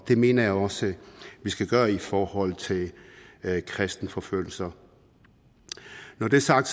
det mener jeg også vi skal gøre i forhold til kristenforfølgelser når det er sagt